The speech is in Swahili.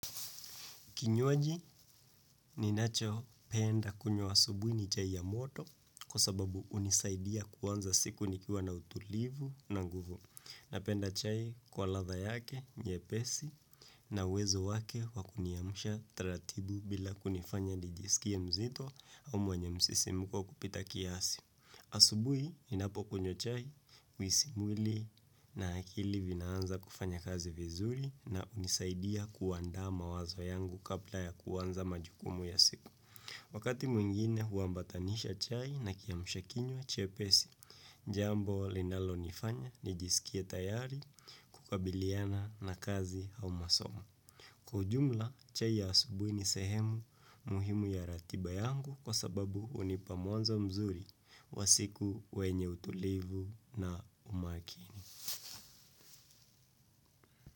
Kinywaji, ninachopenda kunywa asubuhi ni chai ya moto kwa sababu hunisaidia kuanza siku nikiwa na utulivu na nguvu. Napenda chai kwa ladha yake nyepesi na uwezo wake wakuniamsha taratibu bila kunifanya nijisikie mzito au mwenyo msisimko kupita kiasi. Asubuhi ninapokunywa chai mwili na akili vinaanza kufanya kazi vizuri na hunisaidia kuandaa mawazo yangu kabla ya kuanza majukumu ya siku. Wakati mwingine huambatanisha chai na kiamsha kinywa chepesi, jambo linalonifanya nijisikie tayari kukabiliana na kazi au masomo. Ka ujumla, chai ya asubuhi ni sehemu muhimu ya ratiba yangu kwa sababu hunipa mwanzo mzuri wa siku wenye utulivu na umakini.